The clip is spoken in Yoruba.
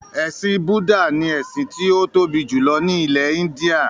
“Ẹ̀sìn Bùdá” ni ẹ̀sìn tí ó tóbi jùlọ ní ilẹ̀-Íńdíà.